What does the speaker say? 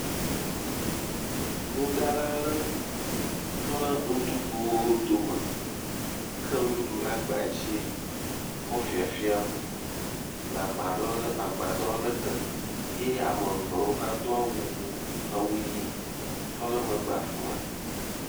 Enuɖala aɖe tɔ ɖe nuɖuɖuwo dome, ka nuɖuɖu ɖe agba dzi kɔ le fafiam le agbadɔ aɖe tɔ, ye ame eve hã tɔ ɖe emegbe le afi ma.